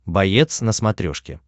боец на смотрешке